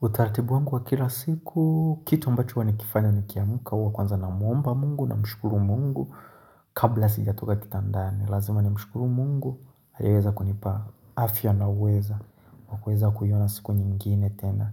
Utaratibu wangu wa kila siku, kitu ambacho huwa ni kifanya ni kiamka uwa kwanza na muomba mungu na mshukuru mungu kabla sijatoka kitandani. Lazima ni mshukuru mungu, hajaweza kunipa afya na uweza, uweza kuyona siku nyingine tena.